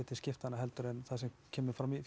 til skiptanna en það sem kemur fram í